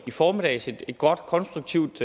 i formiddags et godt og konstruktivt